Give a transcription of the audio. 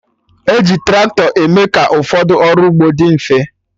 Eji tractọ eme ka ụfọdụ ọrụ ugbo dị mfe